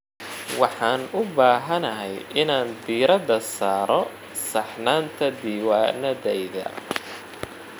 Waxaan u baahanahay inaan diirada saarno saxnaanta diiwaanadayada.